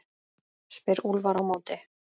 spyr Úlfar á móti?